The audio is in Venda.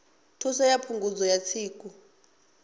thuso ya phungudzo ya tsiku